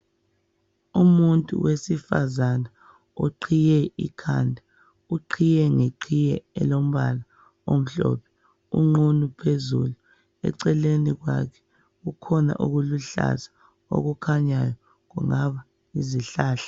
Umuntu wesifazana oqhiye ikhanda. Uqhiye ngeqhiye elombala omhlophe, unqunu phezulu. Eceleni kwakhe kukhona okuluhlaza okukhanyayo kungaba yizihlahla.